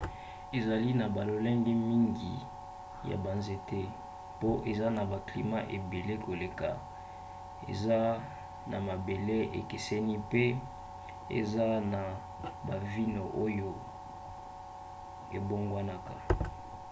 ezali na balolenge mingi ya banzete mpo eza na baclimat ebele koleka eza na mabele ekeseni mpe eza na banivo oyo ebongwanaka